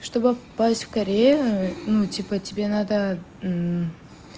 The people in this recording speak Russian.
чтобы попасть в корею ну типа тебе надо